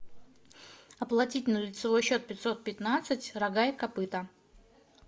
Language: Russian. оплатить на лицевой счет пятьсот пятнадцать рога и копыта